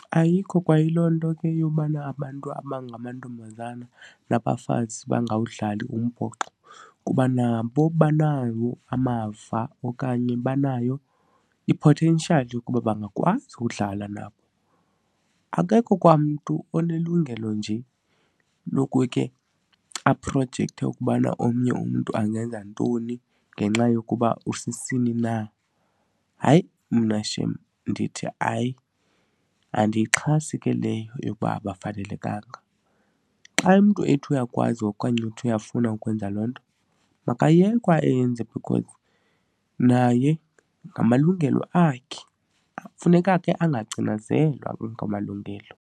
Ayikho kwayiloo nto ke yobana abantu abangamantombazana nabafazi bangawudlali umbhoxo kuba nabo banawo amava okanye banayo i-potential yokuba bangakwazi ukudlala nabo. Akekho kwamntu onelungelo nje lokuke aprojekthe ukubana omnye umntu angenza ntoni ngenxa yokuba usisini na. Hayi, mna shem ndithi hayi, andiyixhasi ke leyo yokuba abafanelekanga. Xa umntu ethi uyakwazi okanye uthi uyafuna ukwenza loo nto, makayekwe ayenze because naye ngamalungelo akhe. Funeka ke angacinezelwa anga amalungelo.